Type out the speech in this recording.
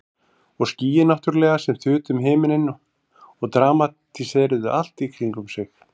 Og skýin náttúrlega sem þutu um himininn og dramatíseruðu allt í kringum sig.